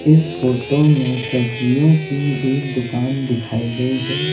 इस फोटो में सब्जियों की एक दुकान दिखाई गई है।